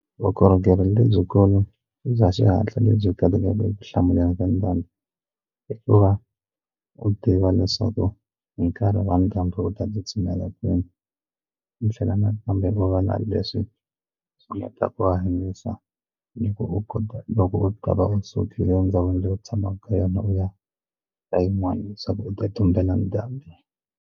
Vukorhokeri lebyikulu bya xihatla lebyi eku hlamuleni ka ndhambi i ku va u tiva leswaku hi nkarhi wa ndhambi u ta tsutsumela kwini mi tlhela na kambe u va na leswi swi endlaka ku hanyisa ni ku u kota loko u ta va u sukile ndzhawini leyi u tshamaka ka yona u ya ka yin'wana leswaku u ta tumbela ndhambi.